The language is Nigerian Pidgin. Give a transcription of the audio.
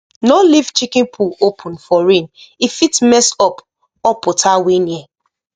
no leave chicken poo open for rain e fit mess up up water wey near